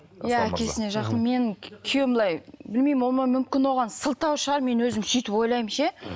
иә әкесіне жақын мен күйеуім былай білмеймін ол мүмкін оған сылтау шығар мен өзім сөйтіп ойлаймын ше